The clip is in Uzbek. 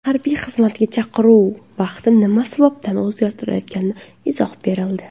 Harbiy xizmatga chaqiruv vaqti nima sababdan o‘zgartirilayotganiga izoh berildi.